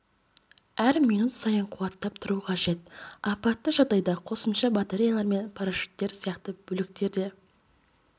әр минут сайын қуаттап тұру қажет апатты жағдайда қосымша батареялар мен парашюттер сияқты бөліктер де